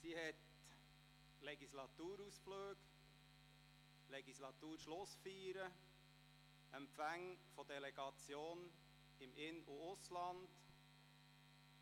Sie hat Legislaturausflüge und -schlussfeiern, Empfänge von Delegationen im In- und Ausland